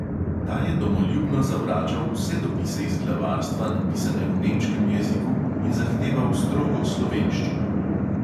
Ta je domoljubno zavračal vse dopise iz glavarstva, napisane v nemškem jeziku, in zahteval strogo slovenščino.